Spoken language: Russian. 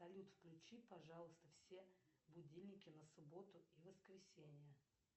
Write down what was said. салют включи пожалуйста все будильники на субботу и воскресенье